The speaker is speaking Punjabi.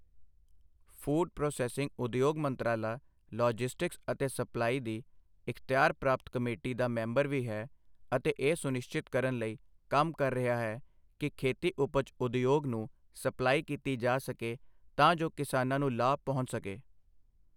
ਫੂਡ ਪ੍ਰੋਸੈੱਸਿੰਗ ਉਦਯੋਗ ਮੰਤਰਾਲਾ ਲੌਜਿਸਟਿਕਸ ਅਤੇ ਸਪਲਾਈ ਦੀ ਇਖ਼ਤਿਆਰ ਪ੍ਰਾਪਤ ਕਮੇਟੀ ਦਾ ਮੈਂਬਰ ਵੀ ਹੈ ਅਤੇ ਇਹ ਸੁਨਿਸ਼ਚਿਤ ਕਰਨ ਲਈ ਕੰਮ ਕਰ ਰਿਹਾ ਹੈ ਕਿ ਖੇਤੀ ਉਪਜ ਉਦਯੋਗ ਨੂੰ ਸਪਲਾਈ ਕੀਤੀ ਜਾ ਸਕੇ ਤਾਂ ਜੋ ਕਿਸਾਨਾਂ ਨੂੰ ਲਾਭ ਪਹੁੰਚ ਸਕੇ।